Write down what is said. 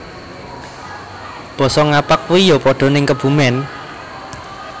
Boso ngapak kui yo podo ning Kebumen